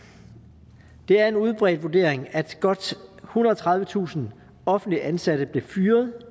det er en udbredt vurdering at godt ethundrede og tredivetusind offentligt ansatte blev fyret